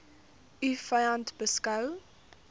u vyand beskou